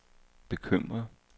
bekymret